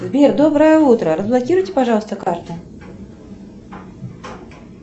сбер доброе утро разблокируйте пожалуйста карту